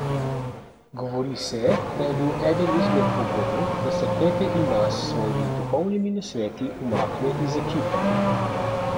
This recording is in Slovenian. Govori se, da je bil eden izmed pogojev, da se Pepe Imaz s svojimi duhovnimi nasveti umakne iz ekipe.